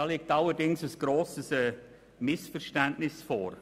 Da liegt allerdings ein grosses Missverständnis vor.